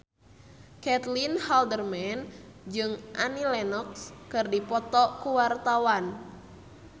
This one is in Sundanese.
Caitlin Halderman jeung Annie Lenox keur dipoto ku wartawan